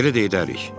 Elə də edərik.